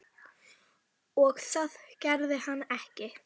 Svo reyndu þeir að hagræða sér laumulega í stólunum.